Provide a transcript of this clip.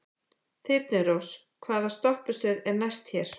Þyrnirós, hvaða stoppistöð er næst mér?